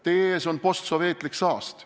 Teie ees on postsovetlik saast.